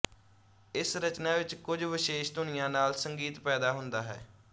ਇਸ ਰਚਨਾ ਵਿੱਚ ਕੁਝ ਵਿਸ਼ੇਸ਼ ਧੁਨੀਆਂ ਨਾਲ ਸੰਗੀਤ ਪੈਦਾ ਹੁੰਦਾ ਹੈ